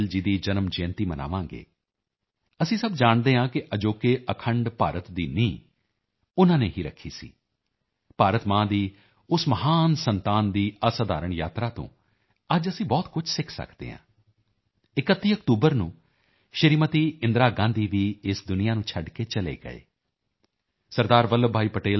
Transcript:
ਵੱਲਭ ਭਾਈ ਪਟੇਲ ਜੀ ਦੀ ਜਨਮ ਜਯੰਤੀ ਮਨਾਵਾਂਗੇ ਅਸੀਂ ਸਭ ਜਾਣਦੇ ਹਾਂ ਕਿ ਅਜੋਕੇ ਅਖੰਡ ਭਾਰਤ ਦੀ ਨੀਂਹ ਉਨ੍ਹਾਂ ਨੇ ਹੀ ਰੱਖੀ ਸੀ ਭਾਰਤ ਮਾਂ ਦੀ ਉਸ ਮਹਾਨ ਸੰਤਾਨ ਦੀ ਅਸਧਾਰਣ ਯਾਤਰਾ ਤੋਂ ਅੱਜ ਅਸੀਂ ਬਹੁਤ ਕੁਝ ਸਿੱਖ ਸਕਦੇ ਹਾਂ 31 ਅਕਤੂਬਰ ਨੂੰ ਸ਼੍ਰੀਮਤੀ ਇੰਦਰਾ ਗਾਂਧੀ ਵੀ ਇਸ ਦੁਨੀਆ ਨੂੰ ਛੱਡ ਕੇ ਚਲੇ ਗਏ ਸ